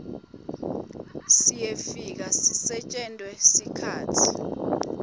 siyefika sisetjentwe ngesikhatsi